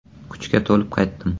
Kuchga to‘lib qaytdim.